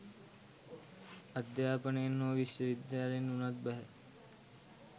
අධ්‍යාපනයෙන් හෝ විශ්වවිද්‍යාලයෙන් වුණත් බැහැ